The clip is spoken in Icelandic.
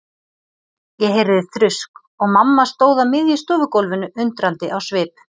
Ég heyrði þrusk og mamma stóð á miðju stofugólfinu undrandi á svip.